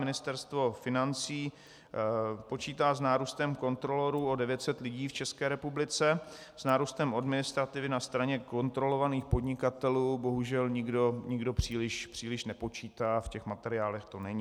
Ministerstvo financí počítá s nárůstem kontrolorů o 900 lidí v České republice, s nárůstem administrativy na straně kontrolovaných podnikatelů bohužel nikdo příliš nepočítá, v těch materiálech to není.